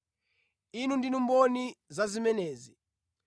Inu ndinu mboni za zimenezi.